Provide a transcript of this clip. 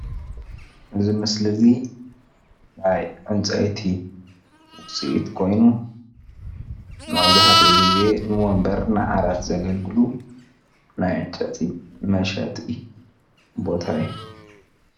እዚ ምስሊ እዚ ናይ ዕንጨይቲ ውፅኢት ኮይኑ መብዛሕትኡ ግዜ ንወንበር ንዓራት ዘገልግሉ ናይ ዕንጨይቲ መሸጢ ቦታ እዩ፡፡